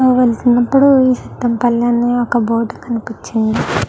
ఆ వెళ్తున్నపుడు ఈ సిద్దంపల్లి అని బోర్డు కనిపించింది.